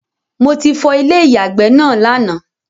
Mo ti fọ Ilé ìyàgbẹ́ náà lánàá